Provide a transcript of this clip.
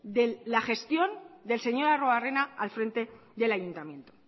de la gestión del señor arruebarrena al frente del ayuntamiento